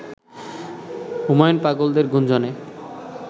হুমায়ূন পাগলদের গুঞ্জনে